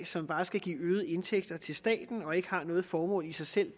som bare skal give øgede indtægter til staten og derudover ikke har noget formål i sig selv